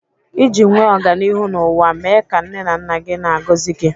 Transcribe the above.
Iji nwee ọganihu n'ụwa, mee ka nne na nna gị na-agọzi gi